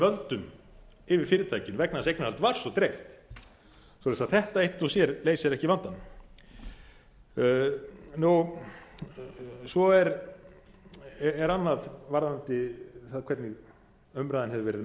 völdum yfir fyrirtækinu vegna þess að eignarhaldið var svo dreift svoleiðis að þetta eitt og sér leysir ekki vandann svo er annað varðandi það hvernig umræðan hefur verið um